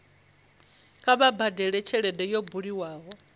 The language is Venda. kha vha badele tshelede yo bulwaho